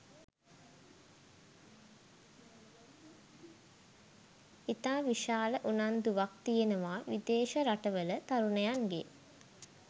ඉතා විශාල උනන්දුවක් තියෙනවා විදේශ රටවල තරුණයන්ගේ